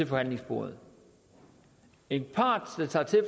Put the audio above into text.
forhandlingsbordet en part